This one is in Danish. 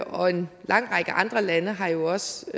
og en lang række andre lande har jo også